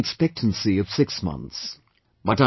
It had a life expectancy of 6 months